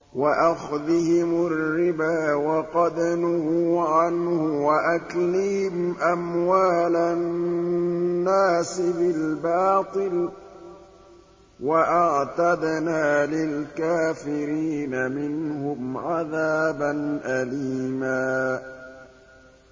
وَأَخْذِهِمُ الرِّبَا وَقَدْ نُهُوا عَنْهُ وَأَكْلِهِمْ أَمْوَالَ النَّاسِ بِالْبَاطِلِ ۚ وَأَعْتَدْنَا لِلْكَافِرِينَ مِنْهُمْ عَذَابًا أَلِيمًا